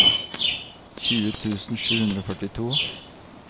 tjue tusen sju hundre og førtito